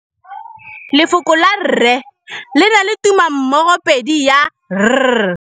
Lefoko la rre, le na le tumammogôpedi ya, r.